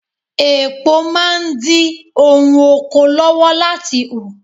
Èpo máa ń dí ohun oko lọ́wọ́ láti hù.